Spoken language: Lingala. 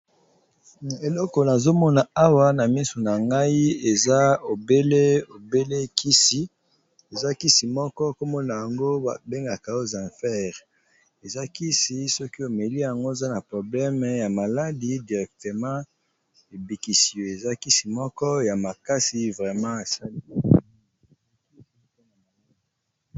Eloko nazomona awa na misu na ngai eza obele obelekisi eza kisi moko komona yango babengaka ozinfere eza kisi soki omeli yango oza na probleme ya maladi directement ebikisi yo eza kisi moko ya makasi vreme esali.